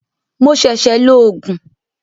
Mo ṣẹ̀ṣẹ̀ lo Ògùn